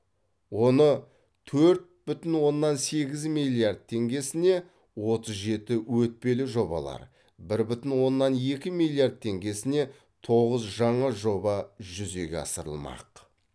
оны төрт бүтін оннан сегіз миллиард теңгесіне отыз жеті өтпелі жобалар бір бүтін оннан екі миллиард теңгесіне тоғыз жаңа жоба жүзеге асырылмақ